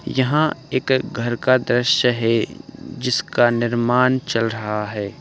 यहां एक घर का द्रश्य है जिसका निर्मान चल रहा है।